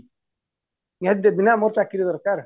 ନିହାତି ଦେବି ନା ମୋର ଚାକିରୀ ଦରକାର